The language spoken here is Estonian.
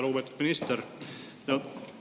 Lugupeetud minister!